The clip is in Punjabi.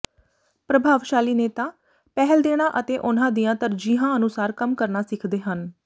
ਪ੍ਰਭਾਵਸ਼ਾਲੀ ਨੇਤਾ ਪਹਿਲ ਦੇਣਾ ਅਤੇ ਉਨ੍ਹਾਂ ਦੀਆਂ ਤਰਜੀਹਾਂ ਅਨੁਸਾਰ ਕੰਮ ਕਰਨਾ ਸਿੱਖਦੇ ਹਨ